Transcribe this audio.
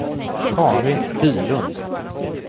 Carin Bylund